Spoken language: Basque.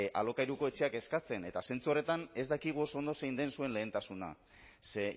alokairuko etxeak eskatzen eta zentzu horretan ez dakigu oso ondo zein den zuen lehentasuna ze